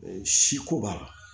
Si ko b'a la